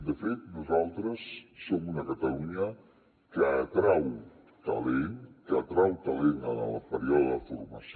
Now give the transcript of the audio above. de fet nosaltres som una catalunya que atrau talent que atrau talent en el període de formació